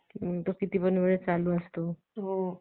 आपण साजरा केला पाहिजे. म्हणून तर होळी, शिमगा ज्याला म्हणतात म्हणजे धुळवड